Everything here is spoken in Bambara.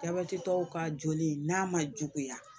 Jabɛti tɔw ka joli n'a ma juguya